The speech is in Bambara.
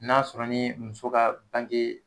N'a sɔrɔ ni muso ka bange